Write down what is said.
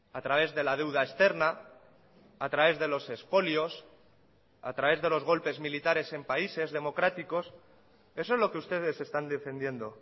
a través de la deuda externa a través de los espolios a través de los golpes militares en países democráticos eso es lo que ustedes están defendiendo